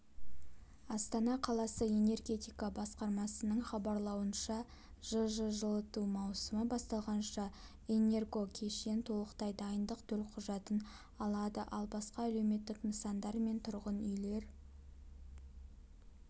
астана қаласы энергетика басқармасының хабарлауынша жж жылыту маусымы басталғанша энергокешен толықтай дайындық төлқұжатын алады ал басқа әлеуметтік нысандар мен тұрғын үйлер